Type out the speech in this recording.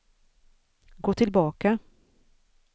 gå tillbaka